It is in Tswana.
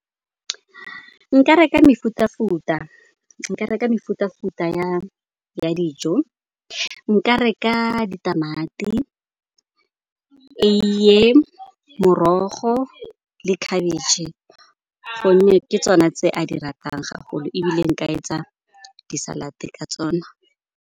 Nka reka mefuta-futa ya dijo, nka reka ditamati, eiye, morogo le khabetšhe gonne ke tsone tse a di ratang gagolo, ebile nka etsa di-salad ka tsona.